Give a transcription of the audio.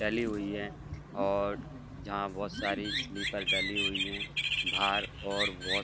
डली हुई है और जहां बहोत सारी स्लिपर डली हुई है। बाहर और बहोत --